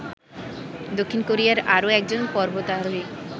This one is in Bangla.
দক্ষিণ কোরিয়ার আরো একজন পর্বতারোহীও